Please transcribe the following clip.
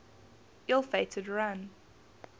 ill fated run